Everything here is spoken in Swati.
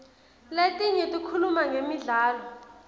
letinye tikhuluma ngemidlalo